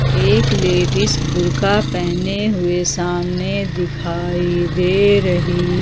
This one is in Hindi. एक लेडिस बुर्खा पहने हुए सामने दिखाई दे रही।